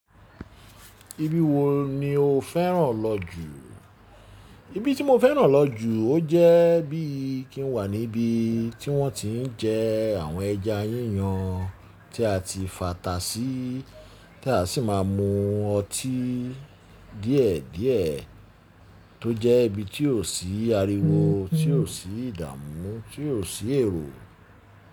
Ibi wo ni o fẹ́ràn lọ jù? Ibi tí mo fẹ́ràn lọ jù, ó jẹ́ bí i kí n wà níbi tí wọ́n ti ń jẹ àwọn ẹja yíyan tí a ti fàtà sí, tí a sì máa ń mu ọtí díẹ̀ díẹ̀, tó jẹ́ ibi tí ò sí ariwo, tí ò sí ìdààmú, tí ò sí èrò.